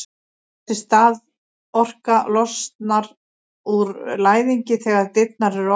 þessi staðorka losnar úr læðingi þegar dyrnar eru opnaðar